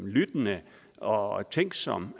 lyttende og tænksom